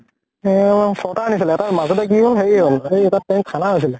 ছয়্টা আনিছিলে গে । এটা মাজতে কি হʼল, হেৰি হʼল, হেই এটা tank খানা আছিলে ।